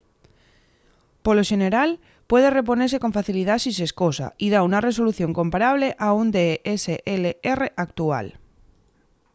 polo xeneral puede reponese con facilidá si s’escosa y da una resolución comparable a un dslr actual